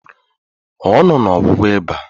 Ọ nọ na ọgwụgwọ ịba